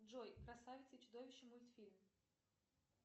джой красавица и чудовище мультфильм